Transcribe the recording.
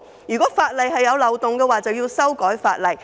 如果法例有漏洞，便應修改法例。